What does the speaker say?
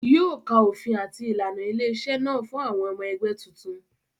Yóò ka òfin àti ìlànà ilé-iṣẹ́ náà fún àwọn ọmọ ẹgbẹ́ tuntun.